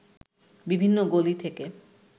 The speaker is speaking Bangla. বিভিন্ন গলি থেকে